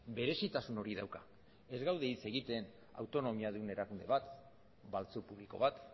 berezitasun hori dauka ez gaude hitz egiten autonomiadun erakunde bat baltzu publiko bat